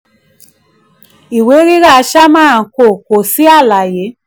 ìwé rírà: sharma & co. kò sí àlàyé lf.